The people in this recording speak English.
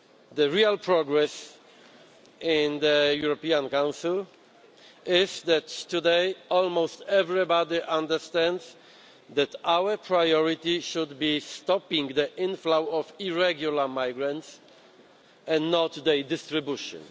The real progress in the European Council is that today, almost everybody understands that our priority should be stopping the inflow of irregular migrants and not their distribution.